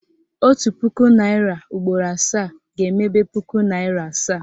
Otu puku naịra ugboro asaa ga-emebe puku naịra asaa